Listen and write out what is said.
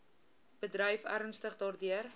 bedryf ernstig daardeur